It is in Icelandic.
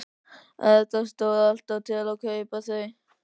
Erla: Stóð alltaf til að kaupa þau?